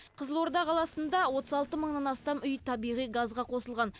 қызылорда қаласында отыз алты мыңнан астам үй табиғи газға қосылған